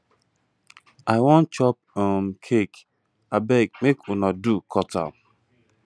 i wan chop um cake abeg make una do cut am